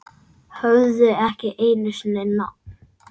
Höfðu ekki einu sinni nafn.